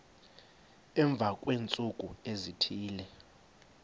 emva kweentsuku ezithile